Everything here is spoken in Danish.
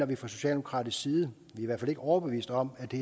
vi fra socialdemokratisk side i hvert fald ikke overbevist om at det